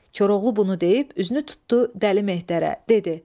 Koroğlu bunu deyib üzünü tutdu Dəli Mehdirə, dedi.